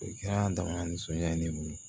O kɛra dama nisɔndiya ye ne bolo